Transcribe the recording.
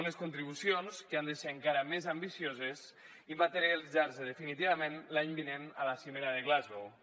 unes contribucions que han de ser encara més ambicioses i materialitzar se definitivament l’any vinent a la cimera de glasgow